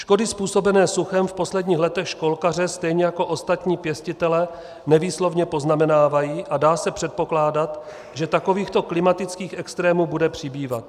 Škody způsobené suchem v posledních letech školkaře stejně jako ostatní pěstitele nevýslovně poznamenávají a dá se předpokládat, že takovýchto klimatických extrémů bude přibývat.